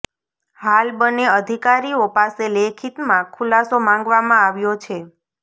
હાલ બંને અધિકારીઓ પાસે લેખિતમાં ખુલાસો માંગવામાં આવ્યો છે